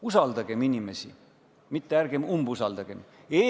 Usaldagem inimesi, mitte ärgem umbusaldagem!